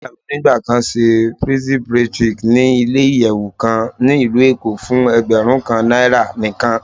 Iya mi nigba kan ṣe pixie braid chic ni ile-iyẹwu kan ni Ilu Eko fun ẹgbẹrun kan naira nikan.